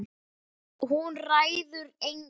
Hún ræður engu.